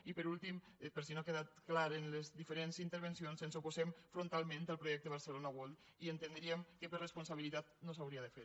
i per últim per si no ha quedat clar en les diferents intervencions ens oposem frontalment al projecte barcelona world i entendríem que per responsabilitat no s’hauria de fer